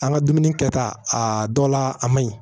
An ka dumuni kɛta a dɔ la a man ɲi